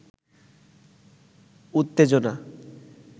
উওেজনা